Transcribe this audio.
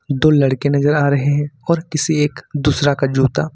दो लड़के नजर आ रहे है और किसी एक दूसरा का जूता--